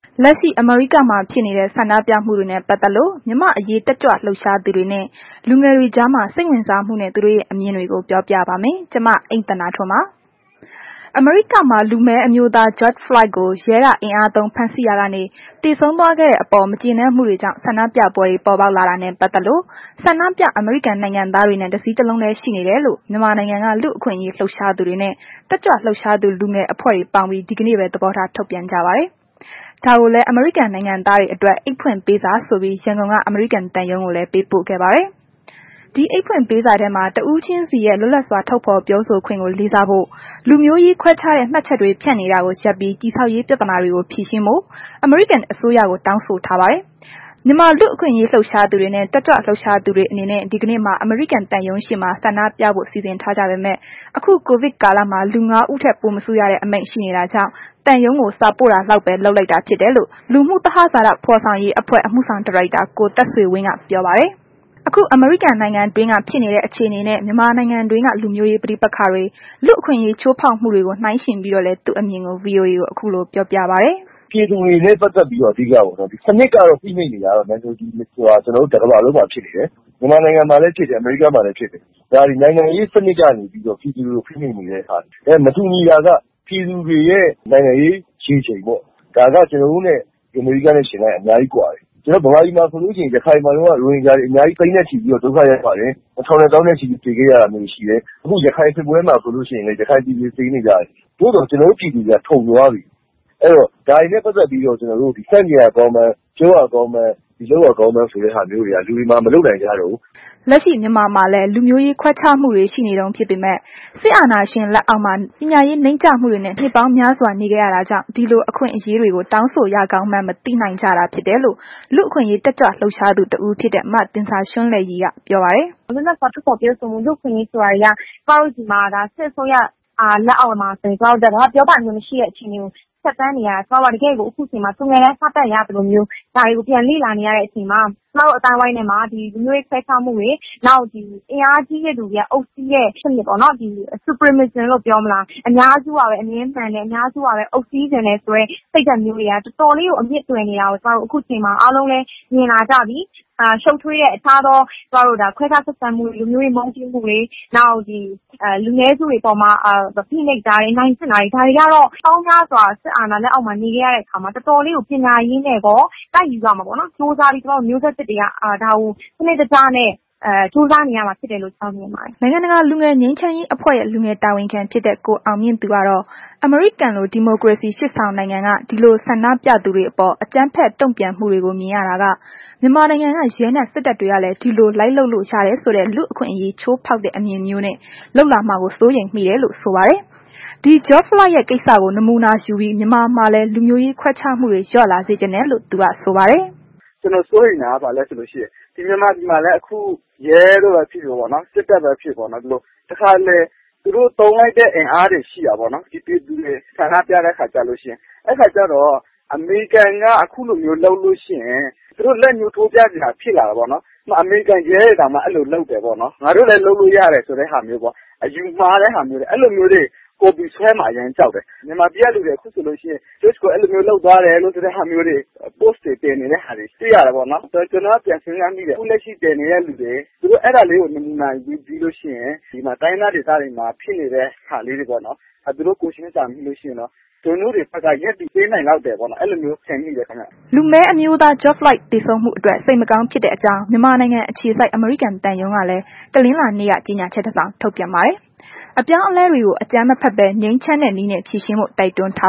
လက်ရှိ အမေရိကန်မှာ ဖြစ်နေတဲ့ ဆန္ဒပြမှုတွေနဲ့ ပတ်သက်လို့ မြန်မာ့အရေးတက်ကြွလှုပ်ရှားသူတွေနဲ့ လူငယ်တွေကြားမှာ စိတ်ဝင်စားမှုနဲ့ သူတို့ရဲ့ အမြင်တွေကို ပြောပြပါမယ်။ ဒီအကြောင်း ဗွီအိုအေမြန်မာပိုင်းသတင်းထောက် မအိမ့်သန္တာထွန်းက တင်ပြပေးမှာပါ။ အမေရိကန်မှာ လူမည်းအမျိုးသား ဂျော့ဖလွိုက်ကို ရဲက အင်အားသုံး ဖမ်းဆီးရာကနေ သေဆုံးသွားခဲ့တဲ့ အပေါ် မကျေနပ်မှုတွေကြောင့် ဆန္ဒပြပွဲတွေ ပေါ်ပေါက်လာတာနဲ့ ပတ်သက်လို့ ဆန္ဒပြ အမေရိကန်နိုင်ငံသားတွေနဲ့ တစည်းတလုံးတည်း ရှိတယ်လို့ မြန်မာနိုင်ငံက လူ့အခွင့်အရေးလှုပ်ရှားသူတွေနှင့် တက်ကြွလှုပ်ရှားသူလူငယ်အဖွဲ့တွေ ပေါင်းပြီး ဒီကနေ့ပဲ သဘောထားထုတ်ပြန်ကြပါတယ်။ ဒါကိုလည်း အမေရိကန်နိုင်ငံသားတွေအတွက် အိတ်ဖွင့်ပေးစာဆိုပြီး ရန်ကုန်က အမရိကန်သံရုံးကိုလည်း ပေးပို့ခဲ့ပါတယ်။ ဒီအိတ်ဖွင့်ပေးစာထဲမှာ တစ်ဦးချင်းစီရဲ့ လွတ်လပ်စွာ ထုတ်ဖော်ပြောဆိုခွင့်ကို လေးစားဖို့၊ လူမျိုးရေးခွဲခြားတဲ့ မှတ်ချက်တွေဖြန့်နေတာကို ရပ်ပြီး တည်ဆောက်ရေး ပြဿနာတွေကို ဖြေရှင်းဖို့ အမေရိကန်အစိုးရကို တောင်းဆိုထားပါတယ်။ မြန်မာလူ့အခွင့်အရေးလှုပ်ရှားသူတွေနှင့် တက်ကြွလှုပ်ရှားသူတွေအနေနဲ့ ဒီကနေ့မှာ အမေရိကန်သံရုံးရှေ့မှာ ဆန္ဒပြဖို့ စီစဉ်ထားကြပေမဲ့ အခု ကိုဗစ်ကာလ လူ ငါး ဦးထက်ပိုမစုရတဲ့ အမိန့်ရှိနေတာကြောင့် သံရုံးကို စာပို့တာလောက်ပဲ လုပ်လိုက်တာဖြစ်တယ်လို့ Synergy လူမှု သဟဇာတ ဖော်ဆောင်ရေးအဖွဲ့ အမှုဆောင်ဒါရိုက်တာ ကိုသက်ဆွေဝင်းက ပြောပါတယ်။ အခုအမေရိကန်နိုင်ငံတွင်းက ဖြစ်နေတဲ့အခြေအနေနဲ့ မြန်မာနိုင်ငံတွင်းက လူမျိုးရေးပဋိပက္ခတွေ လူ့အခွင့်အရေးချိုးဖောက်မှုတွေကို နှိုင်းယှဉ်ပြီးတော့လည်း သူ့အမြင်ကို VOA ကို အခုလို ပြောပါတယ်။ “ပြည်သူတွေနဲ့ ပတ်သက်ပြီးတော့ အဓိကကတော့ စနစ်ကတော့ ကျနော်တို့ တစ်ကမ္ဘာလုံးမှာ ဖြစ်နေတယ်။ ဗမာနိုင်ငံမှာလည်းဖြစ်တဲ့ အမေရိကားမှာလည်း ဖြစ်တယ်။ ဒါသည် နိုင်ငံရေး စနစ်ကနေပြီးတော့ ပြည်သူတွေကို ဖိနှိပ်နေတဲ့ဟာ၊ မတူညီတာက ပြည်သူတွေရဲ့ နိုင်ငံရေးရေချိန်ပေါ့။ ဒါက ကျနော်တို့နဲ့ အမေရိကားနဲ့ ယှဉ်လိုက်ရင်အများကြီးကွာတယ်။ ဗမာပြည်မှာဆိုလို့ရှိရင် ရခိုင်မှာတုန်းက ရိုဟင်ဂျာတွ အများကြီး သိန်းနဲ့ ချီပြီးတော့ ဒုက္ခရောက်ကြတယ်။ ထောင်နဲ့ သောင်းနဲ့ ချီပြီး သေခဲ့ရတာမျိုးတွေရှိတယ်။ ရခိုင်စစ်ပွဲမှာဆိုလို့ရှိရင်လည်း ရခိုင်ပြည်သူတွေ သေနေကြတယ်။ သို့သော် ကျနော်တို့ပြည်သူတွေက ထုံသွားပြီ၊ အဲ့တော့ ဒါတွေနဲ့ ပတ်သက်ပြီးတော့ ကျနော်တို့ ဆန့်ကျင်ရကောင်းမှန်း၊ ပြောရကောင်းမှန်း၊ လုပ်ရကောင်းမှန်းဆိုတဲ့ဟာမျိုးက လူတွေမှာ မလုပ်နိုင်ကြတော့ဘူး။” လက်ရှိ မြန်မာမှာလည်း လူမျိုးရေးခွဲခြားမှုတွေ ရှိနေတုန်း ဖြစ်ပေမဲ့ စစ်အာဏာရှင်လက်အောက်မှာ ပညာရေးနိမ့်ကျမှုတွေနဲ့ နှစ်ပေါင်းများစွာ နေခဲ့ရတာကြောင့် ဒီလို အခွင့်အရေးတွေကို တောင်းဆိုရကောင်းမှန်း မသိနိုင်ကြတာဖြစ်တယ်လို့ လူ့အခွင့်အရေးတက်ကြွလှုပ်ရှားသူတစ်ဦးဖြစ်တဲ့ မသင်ဇာရွန်းလဲ့ရည်က ဆိုပါတယ်။ “လွတ်လပ်စွာထုတ်ဖော်ပြောဆိုမှု လူ့အခွင့်အရေးဆိုတာတွေက ကျမတို့ ဒီစစ်အစိုးရလက်ထက်မှာ ပြောပိုင်ခွင့်မရှိတဲ့ အခြေအနေတွေကို ဖြတ်သန်းနေခဲ့ရတယ်။ ကျမတို့က ခုအချိန်မှာ တကယ့်ကို သူငယ်တန်း စတက်ရသလိုမျိုး ဒါတွေကို ပြန်လေ့လာနေရတဲ့ အချိန်မှာ ကျမတို့ အသိုင်းအဝိုင်းထဲမှာ ဒီလူမျိုးရေးခွဲခြားမှုတွေ၊ နောက် အင်အားကြီးတဲ့ သူတွေက အုပ်စီးတဲ့ စနစ်ပေါ့နော်။ အများစုကပဲ အမြဲမှန်တယ်၊ အများစုကပဲ အုပ်စီးချင်တယ်ဆိုတဲ့ စိတ်ဓာတ်မျိုးက တော်တော်လေးကို အမြစ်တွယ်နေတာကို အခုအချိန်မှာ အားလုံးလည်း မြင်လာကြပြီ။ ရှုပ်ထွေးတဲ့ အခြားသော ကျမတို့ ခွဲခြားဆက်ဆံမှုတွေ လူမျိုးရေး မုန်းတီးမှုတွေ နောက် လူနည်းစုတွေအပေါ်မှာ ဖိနှပ်တာတွေ အနိုင်ကျင့်တာတွေ ဒါတွေကတော့ နှစ်ပေါင်းများစွာ စစ်အာဏာရှင်လက်အောက်မှာ နေခဲ့ရတဲ့ အခါမှာ တော်တော်လေးကို ပညာရေးနှင့်ကော တိုက်ယူရမှာပေါ့နော်။ ကြိုးစားပြီးတော့ မျိုးဆက်သစ်တွေက ဒါကို စနစ်တကျနဲ့ ကြိုးစားနေရမှာဖြစ်တယ်လို့ ကျမတို့ မြင်ပါတယ်။” နိုင်ငံတကာ လူငယ်ငြိမ်းချမ်းအဖွဲ့ရဲ့ လူငယ်တာဝန်ခံဖြစ်တဲ့ ကိုအောင်မြင့်သူကတော့ အမေရိကန်လို ဒီမိုကရေစီ ရှေ့ဆောင်နိုင်ငံက ဒီလို ဆန္ဒပြသူတွေအပေါ် အကြမ်းဖက် တုံ့ပြန်မှုတွေကို မြင်ရတာကမြန်မာနိုင်ငံက ရဲနှင့် စစ်တပ်တွေကလည်း ဒီလို လိုက်လုပ်လို့ရတယ်ဆိုတဲ့ လူ့အခွင့်အရေးကို ချိုးဖောက်တဲ့ အမြင်မျိုးနဲ့ လုပ်လာမှာကို စိုးရိမ်မိတယ်လို့ ဆိုပါတယ်။ ဒီ ဂျော့ဖလွိုက်ရဲ့ ကိစ္စကို နမူနာယူပြီး မြန်မာမှာလည်း လူမျိုးရေးခွဲခြားမှုတွေ လျော့လာစေချင်တယ်လို့ သူက ဆိုပါတယ်။ “ကျနော် စိုးရိမ်တာက ဘာလည်းဆိုလို့ရှိရင် ဒီမြန်မာနိုင်ငံမှာလည်း အခု ရဲကပဲဖြစ်ဖြစ်၊ စစ်တပ်ကပဲ ဖြစ်ဖြစ်ပေါ့နော်။ တခါတလေ သူတို့သုံးလိုက်တဲ့ အင်အားပေါ့။ ပြည်သူတွေဆန္ဒပြတဲ့ခါကျလို့ရှိရင် အဲ့ခါကျတော့ အမေရိကန်က ခုလိုမျိုးလုပ်လို့ရှိရင် သူတို့ လက်ညှိုးထိုးပြစရာ ဖြစ်လာတာပေါ့နော်။ အမေရိကန်ရဲတွေတောင်မှ အဲ့လိုလုပ်တယ်ပေါ့နှော်၊ ငါတို့လည်း လုပ်လို့ရတယ်ဆိုတဲ့ဟာမျိုးပေါ့။ အယူမှားတွေ အဲ့လိုမျိုး copy ဆွဲမှာ အရမ်းကြောက်တယ်။ မြန်မာပြည်ကလူတွေခုဆိုလို့ရှိရင် ဂျော့ကို အဲ့လိုမျိုးလုပ်သွားတယ်ဆိုတဲ့ ဟာမျိုး ပို့စ်တွေတင်နေတာတွေ တွေ့ရတယ်ပေါ့နှော်။ ဆိုတော့ ကျနော်က ပြန်စဉ်းစားမိတယ်၊ အခုလက်ရှိ ဒီလို ပို့စ်တင်နေတဲ့သူတွေက အဲ့ဒါလေးကို နမူနာယူပြီး တိုင်းရင်းသားဒေသတွေမှာ ဖြစ်နေတာလေးတွေကို သူတို့ ကိုယ်ချင်းစာမိလို့ရှိရင်တော့ သူတို့တွေဘက်က ရပ်တည်ပေးနိုင်လောက်တယ်လို့ မြင်ပါတယ်။” လူမည်းအမျိုးသား ဂျော့ဖလွိုက် သေဆုံးမှုအတွက် စိတ်မကောင်းဖြစ်တဲ့အကြောင်း မြန်မာနိုင်ငံအခြေစိုက် အမေရိကန်သံရုံးကလည်း တနလာၤနေ့က ကြေညာချက်တစ်စောင်ထုတ်ပြန်ပါတယ်။ အပြောင်းအလဲတွေကို အကြမ်းမဖက်ဘဲ ငြိမ်းချမ်းတဲ့နည်းနဲ့ ဖြေရှင်းဖို့ တိုက်တွန်းထာ